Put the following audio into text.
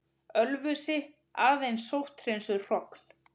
Ölfusi, aðeins sótthreinsuð hrogn.